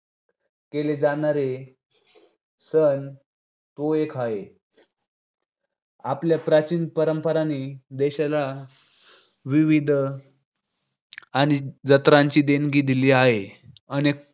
केले जाणारे सण तो एक हाय. आपल्या प्राचीन परंपरांनी देशाला विविध सण आणि जत्रांची देणगी दिली हाय. अनेक